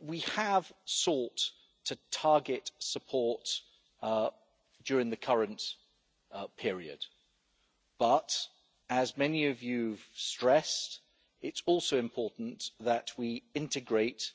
We have sought to target support during the current period, but, as many of you have stressed, it's also important that we integrate